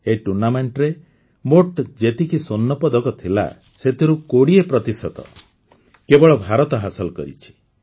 ଏହି ଟୁର୍ଣ୍ଣାମେଣ୍ଟରେ ମୋଟ ଯେତିକି ସ୍ୱର୍ଣ୍ଣପଦକ ଥିଲା ସେଥିରୁ ୨୦ ପ୍ରତିଶତ କେବଳ ଭାରତ ହାସଲ କରିଛି